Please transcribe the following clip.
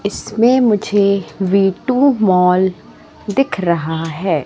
इसमें मुझे V two mall दिख रहा है।